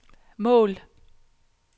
mål